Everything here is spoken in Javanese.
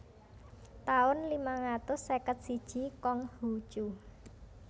taun limang atus seket siji Kong Hu Cu